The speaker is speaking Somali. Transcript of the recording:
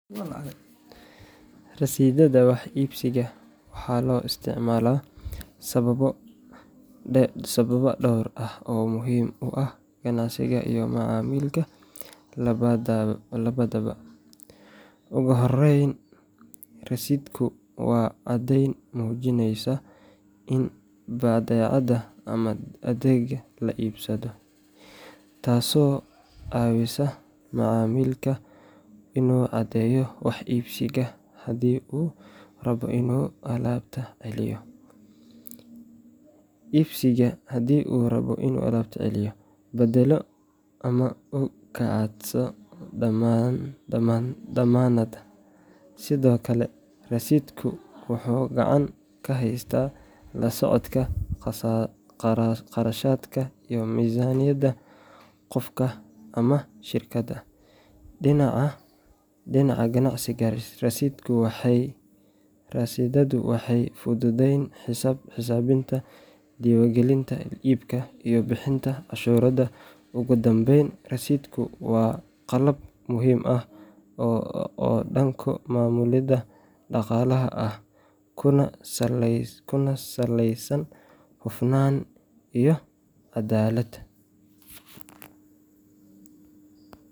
Rasiidhada wax iibsiga waxaa loo isticmaalaa sababo dhowr ah oo muhiim u ah ganacsiga iyo macmiilka labadaba. Ugu horreyn, rasiidhku waa caddayn muujinaysa in badeecad ama adeeg la iibsaday, taasoo ka caawisa macmiilka inuu caddeeyo wax iibsigiisa haddii uu rabo inuu alaabta celiyo, beddelo ama uu ka codsado dammaanad. Sidoo kale, rasiidhku wuxuu gacan ka geystaa la socodka kharashaadka iyo miisaaniyadda qofka ama shirkadda. Dhinaca ganacsiga, rasiidhadu waxay fududeeyaan xisaabinta, diiwaangelinta iibka, iyo bixinta canshuurta. Ugu dambayn, rasiidhku waa qalab muhiim ah oo dhanka maamulidda dhaqaalaha ah, kuna saleysan hufnaan iyo caddaalad.